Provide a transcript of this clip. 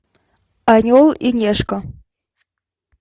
орел и решка